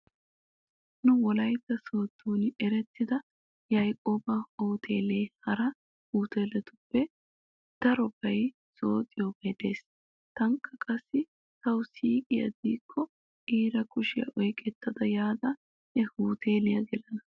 Nu wolaytta sooddon erettida yaaqoba huteelee hara huteeletuppe darobay zooxiyobay de'ees. Taanikka qassi tawu siiqiya diyakko iira kushiya oyqetta yaada he huteeliya gelana.